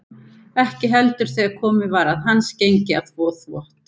Ekki heldur þegar komið var að hans gengi að þvo þvott.